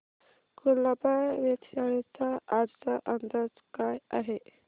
कुलाबा वेधशाळेचा आजचा अंदाज काय आहे